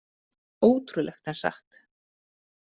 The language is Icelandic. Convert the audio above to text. Ótrúlegt en satt?